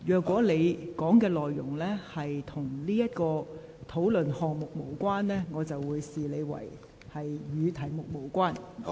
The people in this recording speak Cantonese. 如你的發言內容與此議題無關，我便會視之為離題。